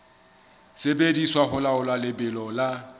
sebediswa ho laola lebelo la